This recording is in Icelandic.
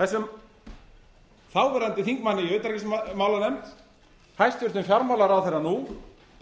þessum þáverandi þingmanni í utanríkismálanefnd hæstvirtur fjármálaráðherra nú